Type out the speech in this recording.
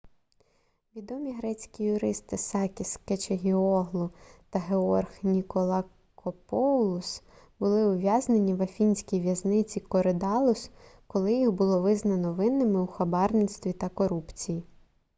відомі грецькі юристи сакіс кечагіоглу та георг ніколакопоулос були ув'язнені в афінській в'язниці коридаллус коли їх було визнано винними у хабарництві та корупції